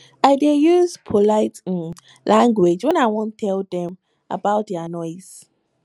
i dey use polite um language wen i wan tell dem about their noise